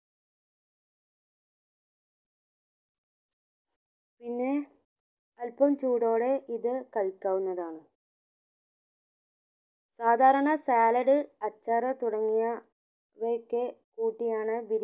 പിന്നെ അൽപ്പം ചൂടോടെ ഇത് കഴിക്കാവുന്നതാണ് സാധരണ salad അച്ചാർ തുടങ്ങിയ ഇവയൊക്കെ കൂട്ടിയാണ്